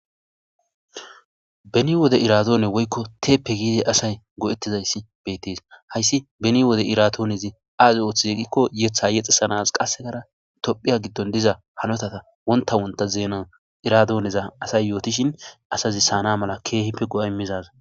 Beni wode iradoone woykko teepe giidi asay go'etizayssi beettes. Hayssi beni wode iradoonezi azi ooththize giikko yeththa yexxisanas qassekkara tophphiya giddon diza hanotata wonta wonta zeena iradoneza asay yootishin asazi siyana mala keehippe go'a immizayssa.